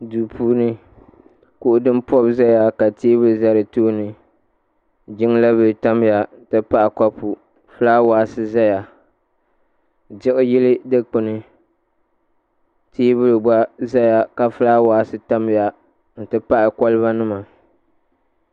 duu puuni kuɣu din pobi ʒɛya ka teebuli ʒɛ di tooni jiŋla bili tamya n ti pahi kopu fulaawes ʒɛya diɣi yili dikpuni teebuli gba ʒɛya ka fulaawaasi tamya n ti pahi koliba nima